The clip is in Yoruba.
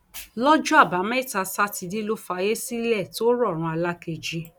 lọjọ àbámẹta sátidé ló fàyè sílẹ tó rọrùn alákejì